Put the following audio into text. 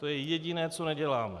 To je jediné, co neděláme.